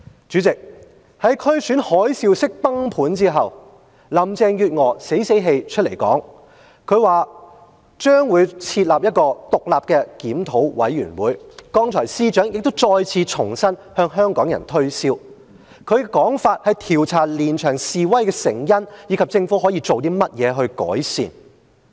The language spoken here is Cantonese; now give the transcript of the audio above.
主席，在區選海嘯式崩盤後，林鄭月娥死死氣出來說："將會設立一個獨立檢討委員會"——剛才司長再次重申向香港人推銷，他的說法是，調查連場示威的成因，以及政府可以做甚麼來改善。